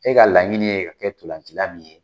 E ka laɲini ye ka kɛ ntolancila min ye